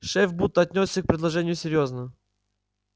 шеф будто отнёсся к предложению серьёзно